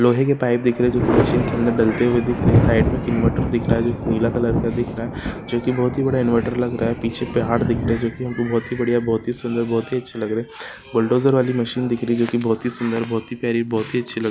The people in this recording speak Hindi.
लोहे के पाइप दिख रही है जो की मशीन के अंदर डलते हुए दिख रहे है साइड में एक इन्वर्टर दिख रहा जो की नीला कलर का दिख रहा जो की बहुत ही बड़ा इन्वर्टर लग रहा है पीछे पहाड़ दिखा रहे है जो की बहुत ही बढ़िया बहुत ही सुंदर बहुत ही अच्छे लग रहे बुलडोजर वाली मशीन दिख रही है जो की बहुत ही सुंदर बहुत ही प्यारी बहुत ही अच्छी--